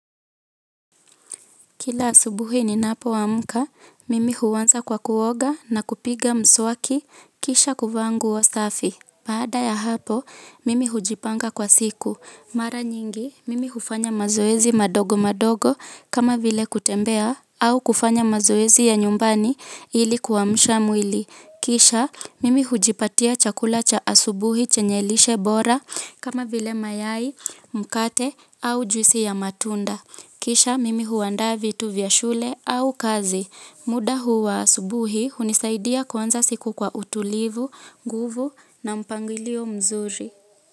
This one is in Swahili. Kila asubuhi ni napo amka, mimi huanza kwa kuoga na kupiga mswaki, kisha kuvaa nguo safi. Baada ya hapo, mimi hujipanga kwa siku. Mara nyingi, mimi hufanya mazoezi madogo madogo kama vile kutembea au kufanya mazoezi ya nyumbani ili kuamsha mwili. Kisha, mimi hujipatia chakula cha asubuhi chenye lishe bora kama vile mayai, mkate au juisi ya matunda. Kisha mimi huandaa vitu vya shule au kazi. Muda huu wa asubuhi hunisaidia kuanza siku kwa utulivu, nguvu na mpangilio mzuri.